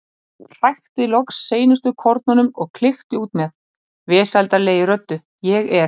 Hrækti loks seinustu kornunum og klykkti út með, vesældarlegri röddu: Ég er.